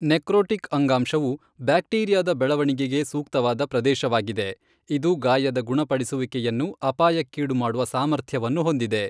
Necrotic ಅಂಗಾಂಶವು ಬ್ಯಾಕ್ಟೀರಿಯಾದ ಬೆಳವಣಿಗೆಗೆ ಸೂಕ್ತವಾದ ಪ್ರದೇಶವಾಗಿದೆ, ಇದು ಗಾಯದ ಗುಣಪಡಿಸುವಿಕೆಯನ್ನು ಅಪಾಯಕ್ಕೀಡುಮಾಡುವ ಸಾಮರ್ಥ್ಯವನ್ನು ಹೊಂದಿದೆ.